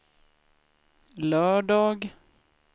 lördag